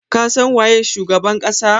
Ka san waye shugaban kasa?